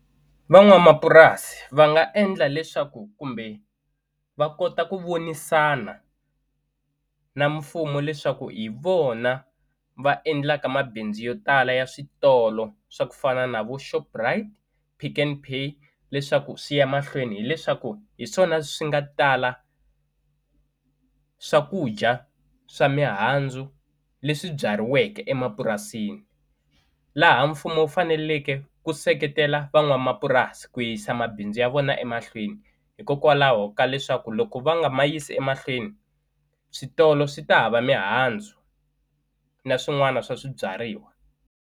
Van'wamapurasi va nga endla leswaku kumbe va kota ku vonisana na mfumo leswaku hi vona va endlaka mabindzu yo tala ya switolo swa ku fana na vo Shoprite, Pick n Pay leswaku swi ya mahlweni hileswaku hi swona swi nga tala swakudya swa mihandzu leswi byariweke emapurasini laha mfumo wu faneleke ku seketela van'wamapurasi ku yisa mabindzu ya vona emahlweni hikokwalaho ka leswaku loko va nga ma yisi emahlweni switolo swi ta hava mihandzu na swin'wana swa swibyariwa.